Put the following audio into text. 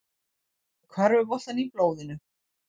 Með körfuboltann í blóðinu